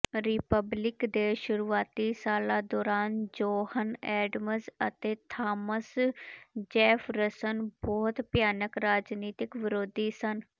republic ਦੇ ਸ਼ੁਰੂਆਤੀ ਸਾਲਾਂ ਦੌਰਾਨ ਜੋਹਨ ਐਡਮਜ਼ ਅਤੇ ਥਾਮਸ ਜੇਫਰਸਨ ਬਹੁਤ ਭਿਆਨਕ ਰਾਜਨੀਤਕ ਵਿਰੋਧੀ ਸਨ